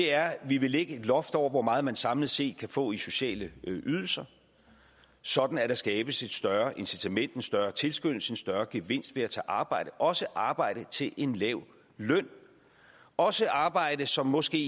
er at vi vil lægge et loft over hvor meget man samlet set kan få i sociale ydelser sådan at der skabes et større incitament en større tilskyndelse og en større gevinst ved at tage arbejde også arbejde til en lav løn og også arbejde som måske